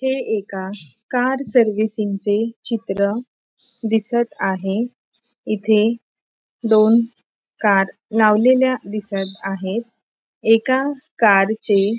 हे एका कार सर्विसिंगचे चित्र दिसत आहे इथे दोन कार लावलेल्या दिसत आहेत एका कारचे --